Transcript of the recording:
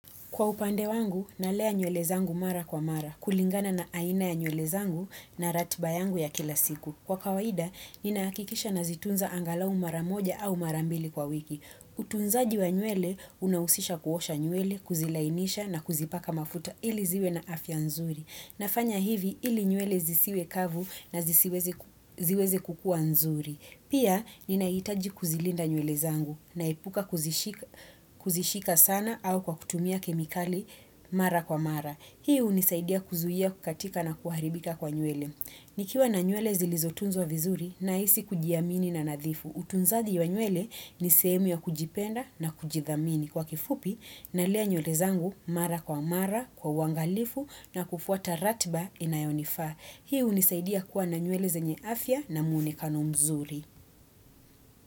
Kwa upande wangu, nalea nywele zangu mara kwa mara, kulingana na aina ya nywele zangu na ratiba yangu ya kila siku. Kwa kawaida, ninahakikisha nazitunza angalau mara moja au mara mbili kwa wiki. Utunzaji wa nywele, unahusisha kuosha nywele, kuzilainisha na kuzipaka mafuta, ili ziwe na afya nzuri. Nafanya hivi ili nywele zisiwe kavu na ziweze kukua nzuri. Pia, ninaitaji kuzilinda nywele zangu, naepuka kuzishika sana au kwa kutumia kemikali mara kwa mara. Hii hunisaidia kuzuia kukatika na kuharibika kwa nywele. Nikiwa na nywele zilizotunzwa vizuri, nahisi kujiamini na nadhifu. Utunzaji wa nywele, ni sehemu ya kujipenda na kujidhamini. Kwa kifupi, nalea nywele zangu mara kwa mara, kwa uangalifu na kufuata ratiba inayonifaa. Hii hunisaidia kuwa na nywele zenye afya na munekano mzuri.